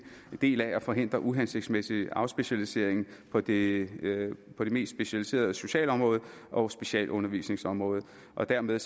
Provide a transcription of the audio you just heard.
del af at forhindre uhensigtsmæssig afspecialisering på det på det mest specialiserede socialområde og specialundervisningsområde og dermed